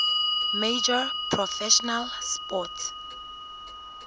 major professional sports